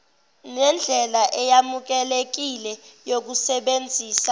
nendlela eyamukelekile yokusebenzisa